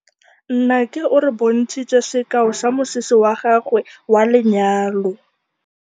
Nnake o re bontshitse sekaô sa mosese wa gagwe wa lenyalo.